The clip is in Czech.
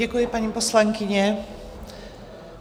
Děkuji, paní poslankyně.